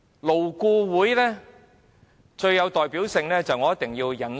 勞顧會最有代表性的事件，我一定要引述。